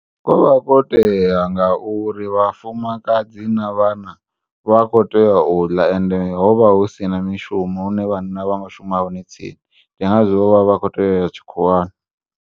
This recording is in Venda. Kovha kwo tea ngauri vhafumakadzi na vhana vha kho tea uḽa ende hovha husina mishumo hune vhanna vhanga shuma hone tsini ndi ngazwo vho vha vha kho tea uya tshikhuwani.